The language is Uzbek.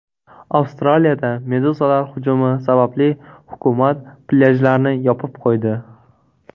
Avstraliyada meduzalar hujumi sababli hukumat plyajlarni yopib qo‘ydi.